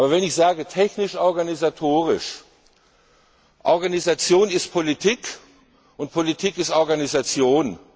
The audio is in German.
Wenn ich sage technisch organisatorisch, heißt das, Organisation ist Politik, und Politik ist Organisation.